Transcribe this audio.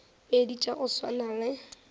pedi tša go swana le